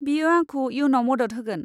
बेयो आंखौ इयुनआव मदद होगोन।